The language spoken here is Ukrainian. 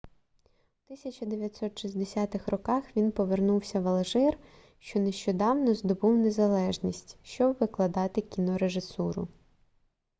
у 1960 роках він повернувся в алжир що нещодавно здобув незалежність щоб викладати кінорежисуру